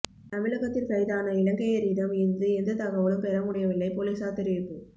தமிழகத்தில் கைதான இலங்கையரிடம் இருந்து எந்த தகவலும் பெற முடியவில்லை பொலிசார் தெரிவிப்பு